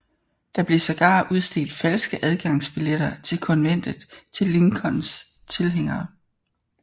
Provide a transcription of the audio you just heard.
Der blev sågar udstedt falske adgangsbilletter til konventet til Lincolns tilhængere